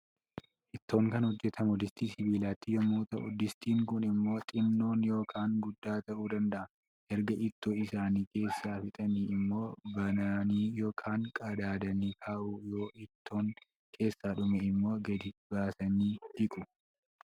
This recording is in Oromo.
Ittoon kan hojjatamu distii sibiilaatti yommuu ta'u, distiin kun immoo xinnoon yookaan guddaa ta'uu danda'a. Erga ittoo isaanii keessaa fixanii immoo bananii yookaan qadaadanii kaa'u. Yoo ittoon keessaa dhume immoo gadi baasanii dhiqu.